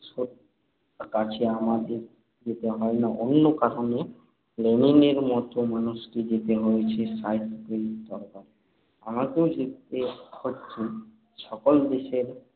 কাছে আমাদের যেতে হয় না অন্য কারণে। লেনিনের মত মানুষকে যেতে হয়েছে সাহিত্যিকের দরবারে। আমাকেও যেতে হচ্ছে। সকল দেশের